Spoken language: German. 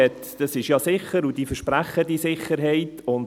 «Ja, es ist sicher, und die versprechen diese Sicherheit».